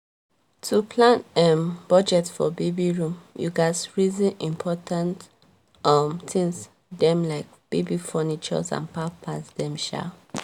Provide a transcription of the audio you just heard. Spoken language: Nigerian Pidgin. to plan um budget for baby room you gats reson important um tins dem like baby furnitures and pampers dem. um